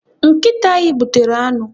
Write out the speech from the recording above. Nkịta anyị gbutere anụ.